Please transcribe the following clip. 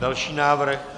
Další návrh.